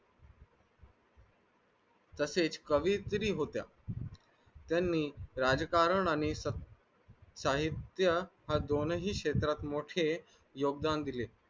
तसेच कवियत्री होत्या यांनी राज्यकारणाननि साहित्य असूनही क्षेत्रात मोठे योगदान दिले